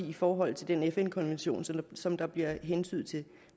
i forhold til den fn konvention som der bliver hentydet til